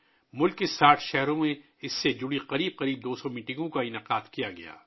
ملک بھر کے 60 شہروں میں اس سے متعلق تقریباً 200 اجلاس منعقد کیے گئے